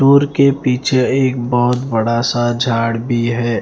के पीछे एक बहुत बड़ा सा झाड़ भी है ।